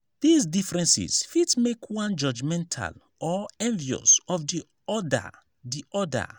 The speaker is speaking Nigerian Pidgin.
these differences fit make one judgemental or envious of di other di other